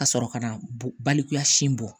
Ka sɔrɔ ka na balikuya sin bɔ